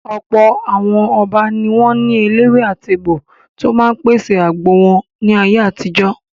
Ọ̀pọ̀ àwọn Ọba ni wọ́n ní eléwé-àtegbò tó máa ń pèsè àgbo wọn ní ayé àtijó.